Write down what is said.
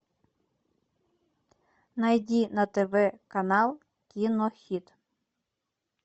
найди на тв канал кинохит